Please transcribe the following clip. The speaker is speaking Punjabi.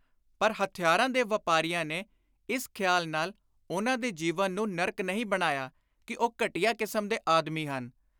ਪਰ ਹਥਿਆਰਾਂ ਦੇ ਵਾਪਾਰੀਆਂ ਨੇ ਇਸ ਖ਼ਿਆਲ ਨਾਲ ਉਨ੍ਹਾਂ ਦੇ ਜੀਵਨ ਨੂੰ ਨਰਕ ਨਹੀਂ ਬਣਾਇਆ ਕਿ ਉਹ ਘਟੀਆ ਕਿਸਮ ਦੇ ਆਦਮੀ ਹਨ।